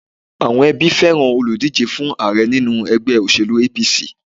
Àwọn ẹbí fẹ́ràn olùdíje fún Ààrẹ nínú ègbé òṣèlú APC